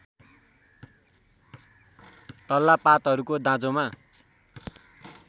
तल्ला पातहरूको दाँजोमा